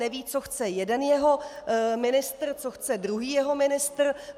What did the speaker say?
Neví, co chce jeden jeho ministr, co chce druhý jeho ministr.